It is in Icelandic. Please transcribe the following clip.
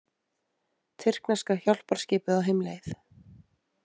Tyrkneska hjálparskipið á heimleið